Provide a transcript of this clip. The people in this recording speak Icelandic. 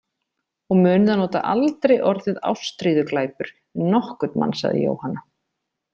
Og munið að nota aldrei orðið ástríðuglæpur við nokkurn mann, sagði Jóhanna.